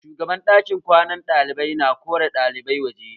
Shugaban ɗakin kwanan ɗalibai ta kore ɗalibai waje